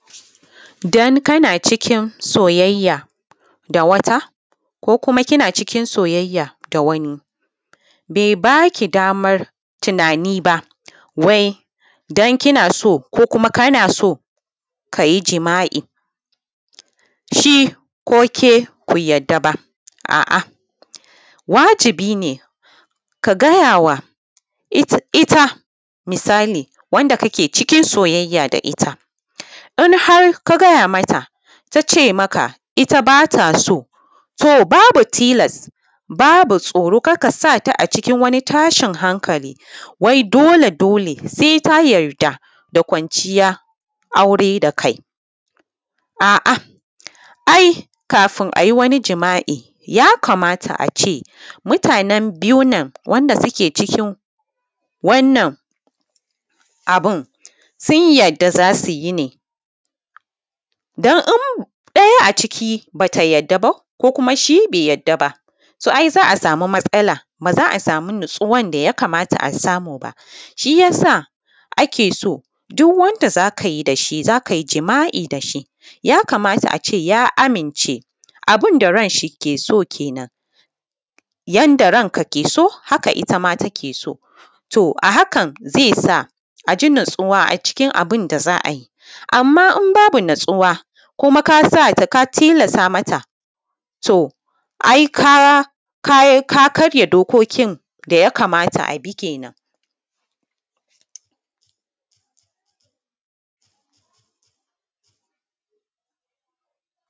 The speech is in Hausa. Dan kana cikin soyayya da wata ko kuma kina cikin soyayya da wani be ba ki daman tunani ba wai don kina so kuma kana so kayi jima’i shi ko ke ku yadda ba, a’a wajibi ne ka gayawa ta misali wanda kake cikin soyayya da ita in harka gaya mata ta ce maka ita ba ta so, to babu tilasa babu tsoro kar ka sa ta a cikin wani tashin hankali. Wai dole, dole sai ka yarda da kwanciya aure da kai ai kafun a yi wani jima’i, ya kamata a ce mutanen biyun nan wanda suke cikin wannan abun sun yarda za su yi ne dan in ɗaya a ciki ba ta yadda ba ko kuma shi be yadda ba, so ai za a samu matsala ba za a samu natsuwan da ya kamata a samu ba. Shi ya sa ake so duk wanda za ka yi da shi za ka yi jima’i da shi ya kamata a ce ya amince abun da ran shi ke so. Kenan yanda ranka ke so haka ita take so, to a hakan ze sa a ji natsuwa a cikin abun da za a yi, amma in babu natsuwa ka tilasatama ta, to ai ka karya dokokin da ya kamata a bi kenan.